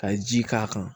Ka ji k'a kan